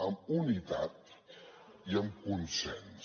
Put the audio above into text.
amb unitat i amb consens